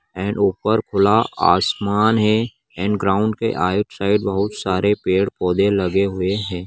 And ऊपर खुला आसमान है एंड ग्राउन्ड के आउट साइड बहुत सारे पेड़ पौधे लगे हुए हैं ।